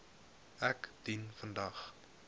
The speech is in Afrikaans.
ek dien vandag